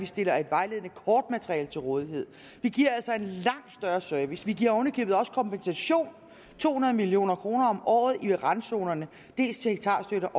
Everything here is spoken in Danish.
stillet et vejledende kortmateriale til rådighed vi giver altså en langt større service vi giver oven i købet også kompensation to hundrede million kroner om året i forbindelse med randzonerne dels til hektarstøtte